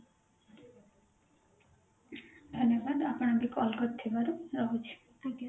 ଧନ୍ୟବାଦ ଆପଣ ବି call କରିଥିବାରୁ ରହୁଛି